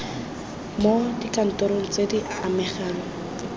mo dikantorong tse di amegang